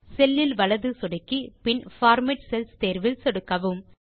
செல் இல் வலது சொடுக்கி பின் பார்மேட் செல்ஸ் தேர்வில் சொடுக்கவும்